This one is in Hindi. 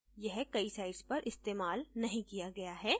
यह कई sites पर इस्तेमाल नहीं किया गया है